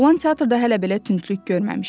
Oğlan teatrda hələ belə tündlük görməmişdi.